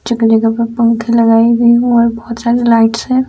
चिकने के ऊपर पंखे लगाए गए है और बहुत सारे लाइट्स है।